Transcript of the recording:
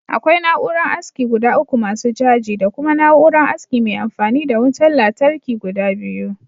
Akwai na'uran aski guda uku masu caji, Da kuma na'uran aski mai anfani da wuta latarki guda biyu